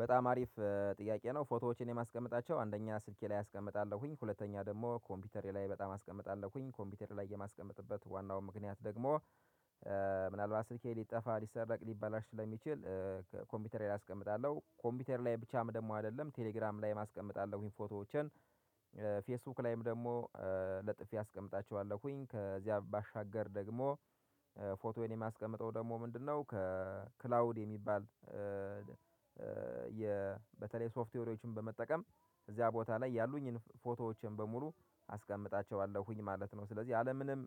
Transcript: በጣም አሪፍ ጥያቄ ነው። ፎቶዎችን የማስቀምጣቸው አንደኛ ስልኬ ላይ አስቀምጣለሁኝ ሁለተኛ ደግሞ ኮምፒውተሬ ላይ በጣም አስቀምጣለሁኝ ኮምፒውተር ላይ የማስቀመጥበት ዋናው ምክንያት ደግሞ ምናልባት ስልኬ ሊጠፋ ሊሰረቅ ሊባላችሁ ለሚችል። ኮምፒውተር ላይ አስቀምጣለሁ ኮምፒውተር ላይ ብቻም ደግሞ አይደለም ቴሌግራም ላይ አስቀምጣለሁ ፎቶዎችን። ፌስቡክ ላይም ደግሞ ለጥፊ አስቀምጣቸዋለሁኝ ከዚያ ባሻገር ደግሞ ፎቶዬን የማስቀምጠው ደግሞ ምንድነው ከክላውድ የሚባል? በተለይ ሶፍትዌሮችን በመጠቀም እዚያ ቦታ ላይ ያሉኝን ፎቶዎችን በሙሉ አስቀምጣቸዋለሁኝ ማለት ነው። ስለዚህ አለምንም